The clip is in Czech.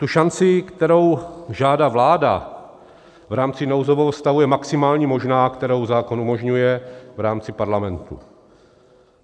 Ta šance, kterou žádá vláda v rámci nouzového stavu, je maximální možná, kterou zákon umožňuje v rámci Parlamentu.